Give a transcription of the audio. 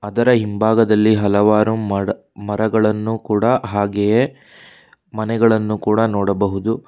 ಅದರ ಹಿಂಭಾಗದಲ್ಲಿ ಹಲವಾರು ಮಡ ಮರಗಳನ್ನು ಕೂಡ ಹಾಗೆಯೆ ಮನೆಗಳನ್ನು ಕೂಡ ನೋಡಬಹುದು.